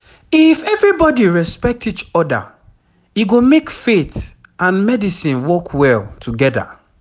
if everybody respect each other e go make faith and medicine work well together